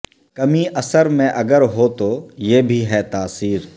کمی اثر میں اگر ہو تو یہ بھی ہے تاثیر